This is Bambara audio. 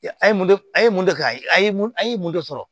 A ye mun de a ye mun de kɛ a ye mun an ye mun de sɔrɔ